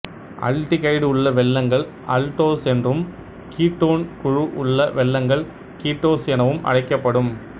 aldehyde உள்ள வெல்லங்கள் aldose என்றும் கீட்டோன் குழு உள்ள வெல்லங்கள் கீட்டோசு எனவும் அழைக்கப்படும்